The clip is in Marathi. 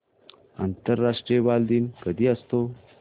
आंतरराष्ट्रीय बालदिन कधी असतो